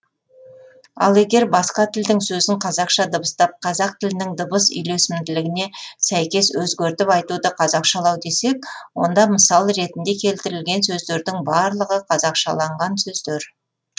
ал егер басқа тілдің сөзін қазақша дыбыстап қазақ тілінің дыбыс үйлесімділігіне сәйкес өзгертіп айтуды қазақшалау десек онда мысал ретінде келтірілген сөздердің барлығы қазақшалаңған сөздер